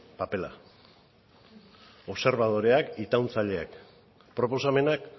papera obserbadoreak itauntzaileak proposamenak